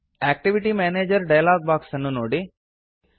activity manager dialog box ಅನ್ನು ನೋಡಿ